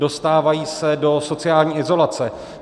Dostávají se do sociální izolace.